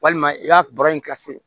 Walima i ka baro in kɛ fu